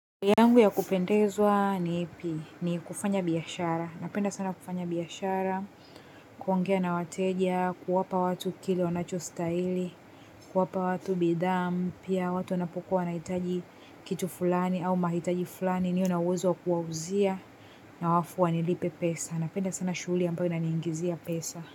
Yangu ya kupendezwa ni ipi, ni kufanya biashara. Napenda sana kufanya biashara, kuongea na wateja, kuwapa watu kile wanacho stahili, kuwapa watu bidhaa mpya watu wanapokuwa na hitaji kitu fulani au mahitaji fulani niwe na uwezo wa kuwauzia na alafu wanipe pesa. Napenda sana shuguli ambayo ina niingizia pesa.